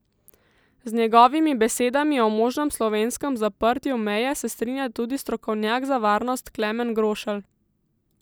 Z njegovimi besedami o možnem slovenskem zaprtju meje se strinja tudi strokovnjak za varnost Klemen Grošelj.